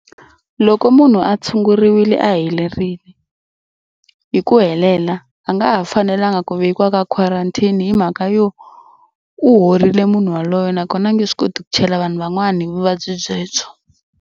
Loko munhu a tshunguriwile a helerile hi ku helela a nga ha fanelanga ku velekiwa ka quarantine hi mhaka yo u horile munhu yaloye nakona a nge swi koti ku chela vanhu van'wana hi vuvabyi byebyo.